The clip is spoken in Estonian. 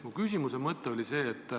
Minu küsimus on selline.